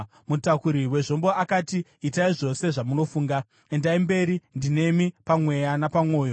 Mutakuri wezvombo akati, “Itai zvose zvamafunga. Endai mberi; ndinemi pamweya napamwoyo.”